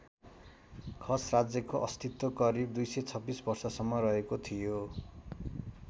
खस राज्यको अस्तित्व करिब २२६ वर्षसम्म रहेको थियो।